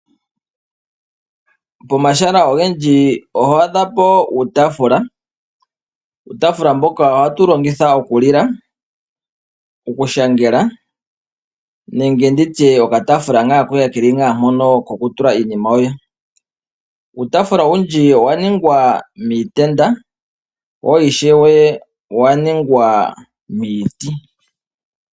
Pomahala ogendji oto adhapo uutafula. Uutafula mboka ohatu wu longitha oku lila, okushangela, nenge okataafula koye keli ngaa mpono koku tula iinima yoye. Uutafula owundji owa ningwa miitenda wo ishewe owa ningwa miiti.